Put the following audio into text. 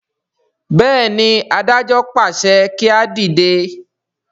béèni adájọ pàṣẹ kí a dìde.